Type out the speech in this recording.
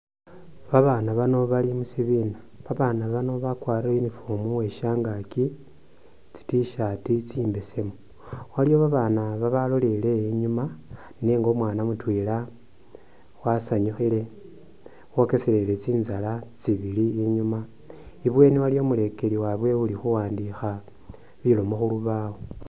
Babana bano bali musibina babana bano bakwarire uniform uweshangaki tsi t shirt tsi’mbesemu , waliyo babana baloleleye inyuma nenga umwana mutwela asanyukhile wokeselele tsintsala tsibili inyuma , ibweni aliwo umulekeli wawe uli khuwandikha bilomo khulubawo.